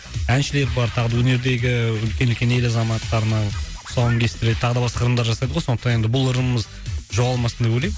әншілер бар тағы да өнердегі ііі үлкен үлкен ел азаматтарының тұсауын кестіреді тағы да басқа ырымдар жасайды ғой сондықтан енді бұл ырымымыз жоғалмасын деп ойлаймын